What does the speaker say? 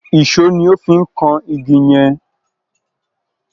Ìṣó ni ó fi ń kan igi yẹn.